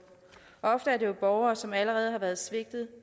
ofte er det jo borgere som allerede har været svigtet